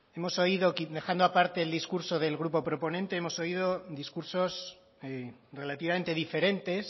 hemos oído que dejando aparte el discurso del grupo proponente hemos oído discursos relativamente diferentes